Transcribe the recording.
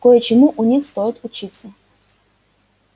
кое-чему у них стоит учиться